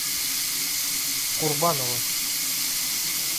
курбанова